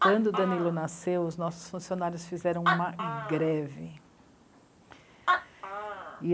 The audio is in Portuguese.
Quando o Danilo nasceu, os nossos funcionários fizeram uma greve.